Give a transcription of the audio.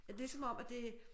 Det som om at det